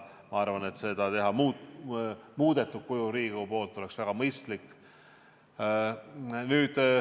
Ma arvan, et seda muudetud kujul Riigikogu poolt teha oleks väga mõistlik.